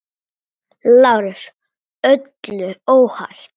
LÁRUS: Öllu óhætt!